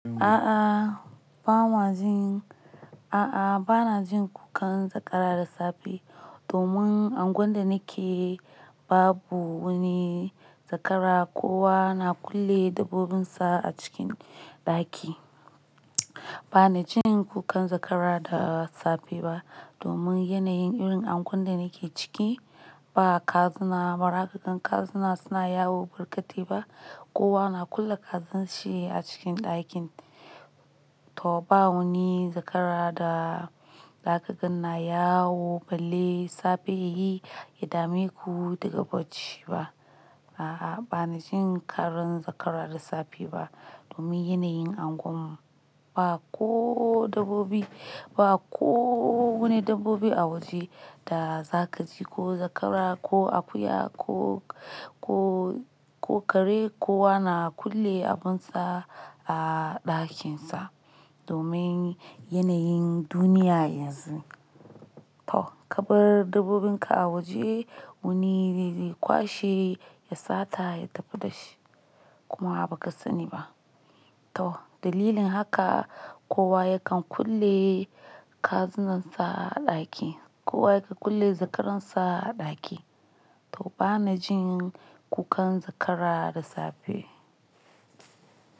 A'a ba ma jin, a'a ba na jin kukan zakara da safe domin unguwar da nake babu wani zakara. Kowa na kulle dabbobinsa a cikin ɗaki. Ba na jin kukan zakara da safe ba domin yanayin irin unguwar da nake ciki ba kazuna bara kagane kazuna suna yawo barƙate ba. Kowa na kulle kazan shi a cikin ɗakin. To ba wuni zakara da ka gane na yawo balai safe yayi, ya dame ku daga bacci ba. A'a ba na jin karun zakara da safe ba domin yanayin unguwarmu. Ba ko dabbobi, ba ko wani dabbobi a waje da za ka ji ko zakara ko akuya ko, ko, ko kare. Kowa na kulle abunsa a ɗakin sa domin yanayin duniya yanzu. To kabar dabbobinka a waje wani riri kwashi ya sata ya tafi da shi kuma ba ka sani ba. To dalilin haka kowa yakan kulle kazunan sa a ɗaki. Kowa yakan kulle zakaransa a ɗaki. To bana jin kukan zakara da safe.